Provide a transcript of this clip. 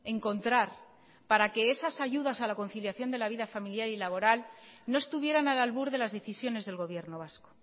encontrar para que esas ayudas a la conciliación de la vida familiar y laboral no estuvieran al albur de las decisiones del gobierno vasco